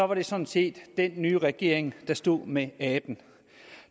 det sådan set den nye regering der stod med aben